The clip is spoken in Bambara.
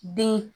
Den